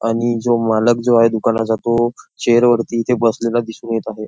आणि जो मालक जो आहे दुकानाचा तो चेअर वरती इथे बसलेला दिसून येत आहे.